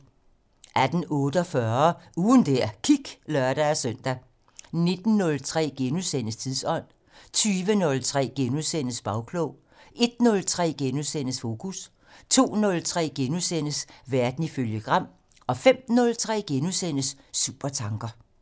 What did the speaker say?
18:48: Ugen der gik (lør-søn) 19:03: Tidsånd * 20:03: Bagklog * 01:03: Fokus * 02:03: Verden ifølge Gram * 05:03: Supertanker *